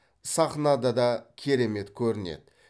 сахнада да керемет көрінеді